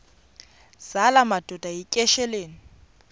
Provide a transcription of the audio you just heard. zala madoda yityesheleni